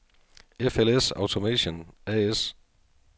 FLS Automation A/S